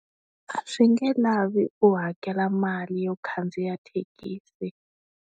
A swi nge lavi u hakela mali yo khandziya thekisi.